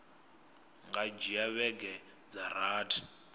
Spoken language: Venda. nga dzhia vhege dza rathi